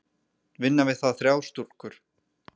Vinna við það þrjár stúlkur.